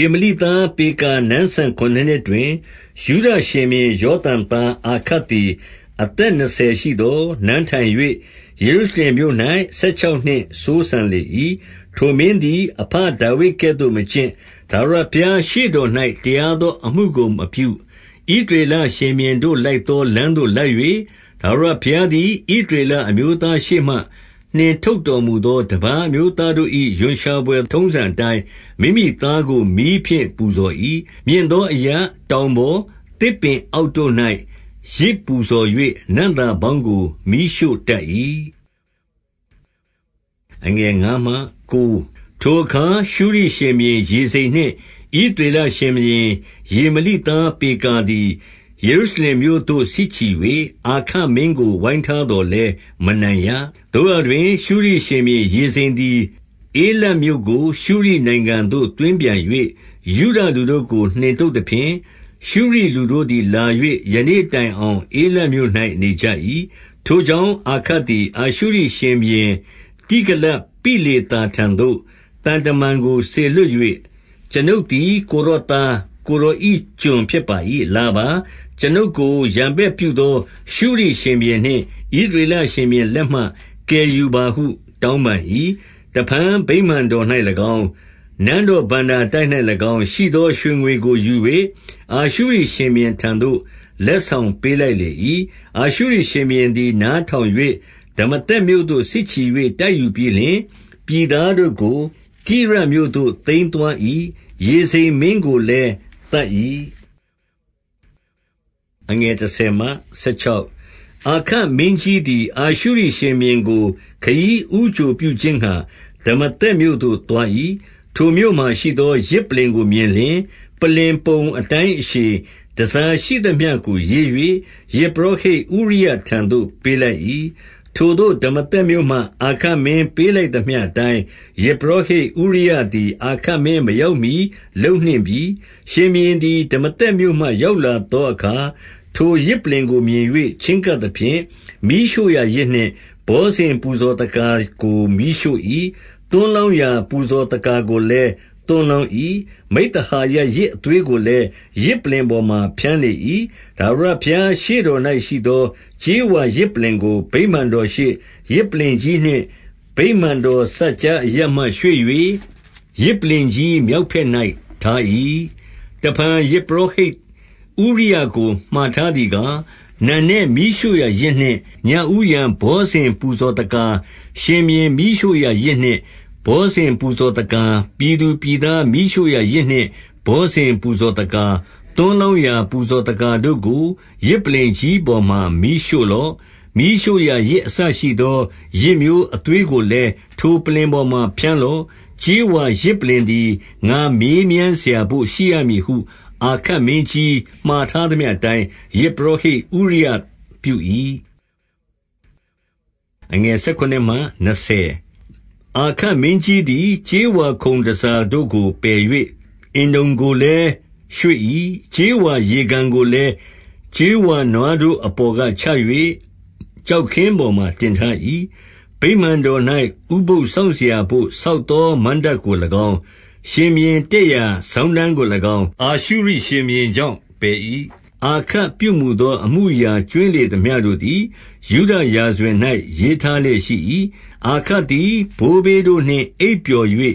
ေမလိသား ပေကာနန်းစံဆယ်ခုနစ်နှစ်တွင် ယုဒရှင်ဘုရင် ယောသံသားအာခတ်သည် အသက် နှစ်ဆယ်ရှိသော် နန်းထိုင်၍၊ 2 ယေရုရှလင်မြို့၌ ဆယ်ခြောက်နှစ်စိုးစံလေ၏။ ထိုမင်းသည် အဘဒါဝိဒ်ကဲ့သို့မကျင့်၊ ထာဝရဘုရား ရှေ့တော်၌ တရားသော အမှုကို မပြု၊ 3 ဣသရေလရှင်ဘုရင်တို့ လိုက်သောလမ်းသို့ လိုက်၍၊ ထာဝရဘုရားသည် ဣသရေလ အမျိုးသားတို့ ရှေ့မှ၊ နှင်ထုတ်တော်မူသော တပါးအမျိုးသားတို့၏ ရွံရှာဘွယ် ထုံးစံအတိုင်း၊ မိမိသားကို မီးဖြင့်ပူဇော်၏။ 4 မြင့်သောအရပ်၊ တောင်ပေါ်၊ သစ်ပင်အောက် တို့၌ပူဇော်၍ နံ့သာပေါင်းကို မီးရှို့တတ်၏။ 5 ထိုအခါ ရှုရိရှင်ဘုရင် ရေဇိန်နှင့် ဣသရေလ ရှင်ဘုရင် ရေမလိသားပေကာသည် ယေရုရှလင်မြို့သို့ စစ်ချီ၍ အာခတ်မင်းကို ဝိုင်းထားသော်လည်း မနိုင်ရ။ 6 သို့ရာတွင်၊ ရှုရိရှင်ဘုရင် ရေဇိန်သည် ဧလတ်မြို့ ကို ရှုရိနိုင်ငံ သို့သွင်းပြန်၍၊ ယုဒလူတို့ကို နှင်ထုတ်သဖြင့်၊ ရှုရိလူတို့သည်လာ၍ ယနေ့တိုင်အောင် ဧလတ်မြို့၌ နေကြ၏။ 7 ထိုကြောင့်အာခတ်သည် အာရှုရိရှင်ဘုရင် တိဂလတ်ပိလေသာထံသို့ သံတမန်ကို စေလွှတ်၍၊ ကျွန်ုပ်သည် ကိုယ်တော်သား၊ ကိုယ်တော်ကျွန်ဖြစ်ပါ၏။ လာပါ။ ကျွန်ုပ်ကို ရန်ဘက်ပြုသော ရှုရိရှင်ဘုရင်နှင့် ဣသရေလ ရှင်ဘုရင်လက်မှ ကယ်ယူပါဟု တောင်းပန်၏။ 8 တဖန်ဗိမာန်တော်၌၎င်း၊ နန်းတော်ဘဏ္ဍာတိုက် ၌၎င်း ရှိသော ရွှေငွေကို ယူ၍ အာရှုရိရှင်ဘုရင်ထံသို့ လက်ဆောင်ပေးလိုက်လေ၏။ 9 အာရှုရိရှင်ဘုရင်သည် နားထောင်၍ ဒမာ သက်မြို့သို့ စစ်ချီ၍ တိုက်ယူပြီးလဆင်၊ ပြည်သားတို့ကို ကိရမြို့သို့ သိမ်းသွား၏။ ရေဇိန်မင်းကိုလည်း သတ်၏။ 10 အာခတ်မင်းကြီးသည် အာရှုရိရှင်ဘုရင်ကို ခရီး ဦးကြိုပြုခြင်းငှါ ဒမာသက်မြို့သို့သွား၏။ ထိုမြို့မှာရှိသော ယဇ်ပလ္လင်ကိုမြင်လျှင်၊ ပလ္လင်ပုံ၊ အတိုင်းအရှည်၊ တန်ဆာ ရှိသမျှကိုရေး၍ ယဇ်ပုရောဟိတ်ဥရိယထံသို့ ပေးလိုက်၏။ 11 ထိုသို့ ဒမာသက်မြို့မှ အာခတ်မင်းပေးလိုက် သမျှအတိုင်း၊ ယဇ်ပုရောဟိတ်ဥရိယသည် အာခတ်မင်း မရောက်မှီ လုပ်နှင့်ပြီ။ 12 ရှင်ဘုရင်သည် ဒမာသက်မြို့မှရောက်လာသော အခါ၊ ထိုယဇ်ပလ္လင်ကို မြင်၍ ချဉ်းကပ်သဖြင့်၊ 13 မီးရှို့ရာယဇ်နှင့် ဘောဇဉ်ပူဇော်သက္ကာကို မီးရှို့၏။ သွန်းလောင်းရာ ပူဇော်သက္ကာ ကိုလည်း သွန်းလောင်း၏။ မိဿဟာယယဇ်အသွေးကိုလည်း ယဇ် ပလ္လင်ပေါ်မှာဖြန်းလေ၏။ 14 ထာဝရဘုရားရှေ့တော်၌ရှိသော ကြေးဝါယဇ် ပလ္လင်ကို ဗိမာန်တော်ရှေ့၊ ယဇ်ပလ္လင်ကြီးနှင့် ဗိမာန်တော် စပ်ကြားအရပ်မှ ရွေ့၍ ယဇ်ပလ္လင်ကြီး မြောက်ဘက်၌ ထား၏။ 15 တဖန်ယဇ်ပုရောဟိတ်ဥရိယကို မှာထားသည် ကား၊ နံနက် မီးရှို့ရာယဇ်နှင့် ညဦးယံဘောဇဉ် ပူဇော် သက္ကာ၊ ရှင်ဘုရင်မီးရှို့ရာယဇ်နှင့် ဘောဇဉ်ပူဇော်သက္ကာ၊ သွန်းလောင်းရာပူဇော်သက္ကာတို့ကို ယဇ်ပလ္လင်ကြီးပေါ်မှာ မီးရှို့လော့။ မီးရှို့ရာယဇ်အစရှိသော ယဇ်မျိုးအသွေးကို လည်း ထိုပလ္လင်ပေါ်မှာဖြန်းလော့။ ကြေးဝါယဇ်ပလ္လင် သည် ငါမေးမြန်းစရာဘို့ ရှိရမည်ဟု၊ 16 အာခက်မင်းကြီးမှာထားသမျှအတိုင်း ယဇ် ပုရောဟိတ်ဥရိယ ပြု၏။ 17 အာခတ်မင်းကြီးသည် ကြေးဝါခုံတန်ဆာတို့ကို ပယ်၍ အင်တုံကို လည်းရွေ့၏။ ကြေးဝါရေကန်ကိုလည်း ကြေးဝါနွားတို့အပေါ်ကချ၍ ကျောက်ခင်းပေါ်မှာ တင်ထား၏။ 18 ဗိမာန်တော်၌ ဥပုသ်စောင့်စရာဘို့ ဆောက် သောမဏ္ဍပ်ကို၎င်း၊ ရှင်ဘုရင်တက်ရာစောင်းတန်းကို၎င်း၊ အာရှုရိရှင်ဘုရင်ကြောင့် ပယ်၏။ 19 အာခတ်ပြုမူသော အမှုအရာကြွင်းလေသမျှ တို့သည် ယုဒရာဇဝင်၌ရေးထားလျက်ရှိ၏။ 20 အာခတ်သည်ဘိုးဘေးတို့နှင့် အိပ်ပျော်၍၊